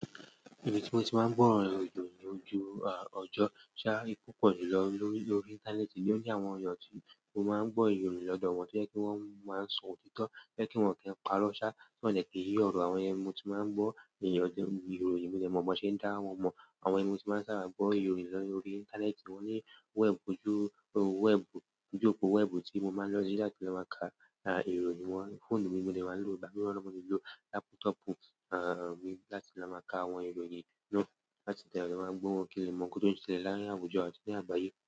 Ibí tí mo ti máa ń gbọ́ ìròyìn lójú ọjọ́ ṣá. Púpọ̀ jùlọ lórí íńtánẹ́ẹ̀tì, nio jẹ́ àwọn èèyàn tí mo máa ń gbọ́ ìròyìn lọ́dọ́ wọn, tó jẹ́ pe wọ́n máa ń sọ òtítọ́, to jẹ́ pe wọ́n kin pa irọ́ ṣá, tí wọ́n de ki yìì ọ̀rọ̀. Àwọn iyen nii mo ti máa ń gbọ́ ìròyìn, mo dè mọ̀ bi won ṣe ń dá wọn mọ̀. Àwọn yen ní mo ti máa ń ṣàbà gbo ìròyìn lórí íńtánẹ́ẹ̀tì, wọ́n ní wẹ́ẹ̀bù, ojú òpó wẹ́ẹ̀bù tí mo máa ń lọ sí láti lọ máa ka ìròyìn wọn. Fóònù mi ni mo de máa ń lò, ìgbà mìíràn mo le lò lápútọ̀pù mi láti fi lọ máa ka àwọn ìròyìn náà, láti tẹ̀lé wọn, mo de maa n gbo wọn kín lè mọ̀ nkan touń ṣẹlẹ̀ láàárín àwùjọ àti ní àgbáyé.